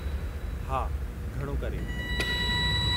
हा, घणो करे।